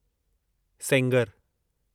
Sengar